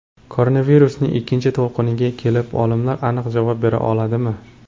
Koronavirusning ikkinchi to‘lqiniga kelib olimlar aniq javob bera oladimi?.